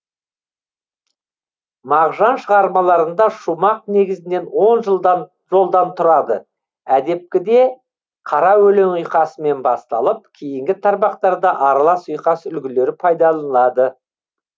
мағжан шығармаларында шумақ негізінен он жолдан тұрады әдепкіде қара өлең ұйқасымен басталып кейінгі тармақтарда аралас ұйқас үлгілері пайдаланылады